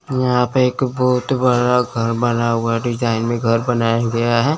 यहां पे एक बहोत बड़ा घर बना हुआ डिजाइन में घर बनाया गया है।